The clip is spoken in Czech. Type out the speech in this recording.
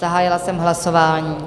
Zahájila jsem hlasování.